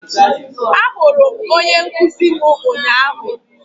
ahụrụ m onye nkuzi m ụnyahụ